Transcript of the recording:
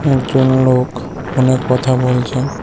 একজন লোক ফোনে কথা বলছেন।